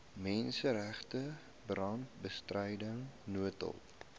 menseregte brandbestryding noodhulp